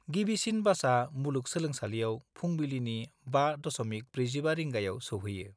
गिबिसिन बासा मुलुग सोलोंसालियाव फुंबिलिनि 5.45 रिंगायाव सौहैयो।